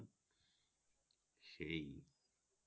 সেই